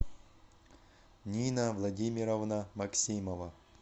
нина владимировна максимова